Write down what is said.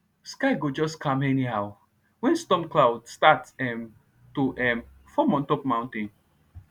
sky go just calm anyhow when storm cloud start um to um form on top mountain